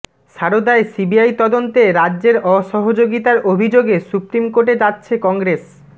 সারদায় CBI তদন্তে রাজ্যের অসহযোগিতার অভিযোগে সুপ্রিম কোর্টে যাচ্ছে কংগ্রেস